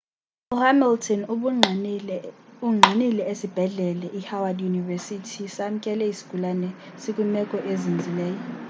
u-hamilton ungqinile ukuba isibhedlela i howard university samkele isigulane sikwimeko ezinzileyo